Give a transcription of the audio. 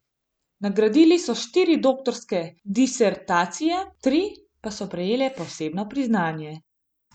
Nagradili so štiri doktorske disertacije, tri pa so prejele posebno priznanje.